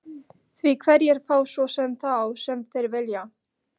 Því hverjir fá svo sem þá sem þeir vilja?